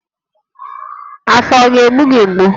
Afọ ọ ga-egbu gị mgbu?